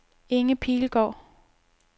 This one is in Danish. Inge Pilgaard